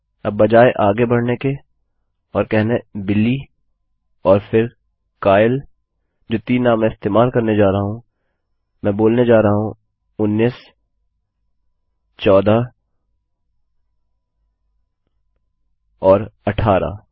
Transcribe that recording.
अब बजाय आगे बढ़ने के और कहना बिली और फिर काइल जो तीन नाम मैं इस्तेमाल करने जा रहा हूँ मैं बोलने जा रहा हूँ उन्नीसचौदह और अट्ठारह